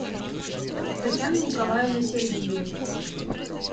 татьяны николаевны сергеевой